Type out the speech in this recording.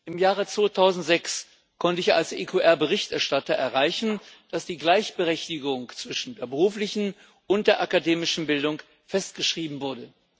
Im Jahr 2006 konnte ich als EQR Berichterstatter erreichen, dass die Gleichberechtigung zwischen der beruflichen und der akademischen Bildung festgeschrieben wurde.